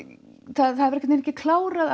það var ekkert klárað